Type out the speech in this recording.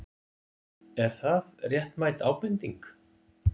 Er það réttmæt ábending?